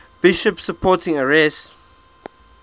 bishops supporting arius